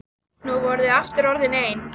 Nú voru þau aftur orðin ein.